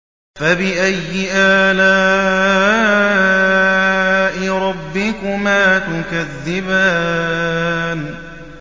فَبِأَيِّ آلَاءِ رَبِّكُمَا تُكَذِّبَانِ